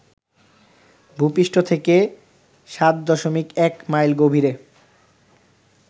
ভূপৃষ্ঠ থেকে ৭.১ মাইল গভীরে